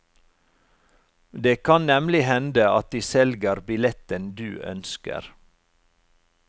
Det kan nemlig hende at de selger billetten du ønsker.